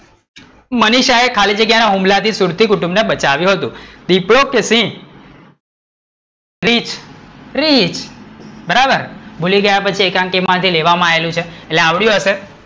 મનીષા એ ખાલી જગ્યા ના હુમલા થી સુરતી કુટુંબ ને બચાવ્યુ હતું. દીપડો કે સિંહ? રીંછ? રીંછ, બરાબર, ભૂલી ગયા કે એકાંકી માંથી લેવામાં આવેલું છે એટલે આવડિયું હશે,